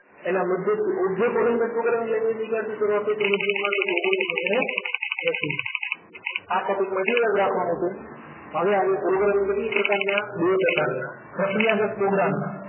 એના મૃતદેહથ object oriented programming language ની ક્યારથી શરૂઆત થઈ હતી મધ્યમાં ઓગ્નીશો એંશી આ topic મર્યાદિત રાખવાનો છે હવે આવીએ programming કેટલી પ્રકારના બે પ્રકારના પ્રક્રિયા દક programming